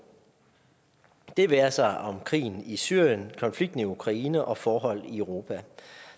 det være sig om krigen i syrien konflikten i ukraine og forhold i europa